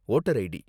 voter ID